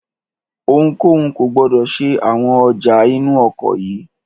Ohunkóhun kò gbọdọ̀ ṣe àwọn ọjà inú ọkọ̀ yìí!